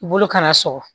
I bolo kana sɔ